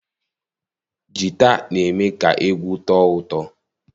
Jita na-eme ka egwu tọọ ụtọ.